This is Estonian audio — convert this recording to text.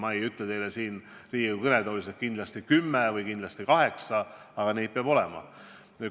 Ma ei ütle teile siin Riigikogu kõnetoolis, et peatusi peab olema kindlasti 10 või kindlasti 8, aga neid peab olema.